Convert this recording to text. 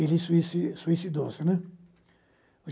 Ele é sui suicidou-se, né?